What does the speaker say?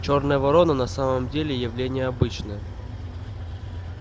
чёрная ворона на самом деле явление обычное